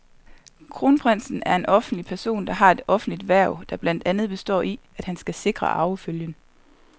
Kronprinsen er en offentlig person, der har et offentligt hverv, der blandt andet består i, at han skal sikre arvefølgen.